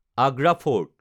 Agra fort